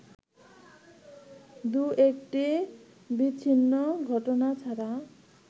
দু'একটি বিচ্ছিন্ন ঘটনা ছাড়া